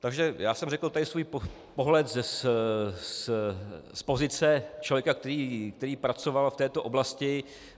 Takže já jsem tady řekl svůj pohled z pozice člověka, který pracoval v této oblasti.